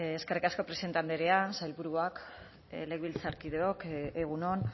eskerrik asko presidente andrea sailburuak legebiltzarkideok egun on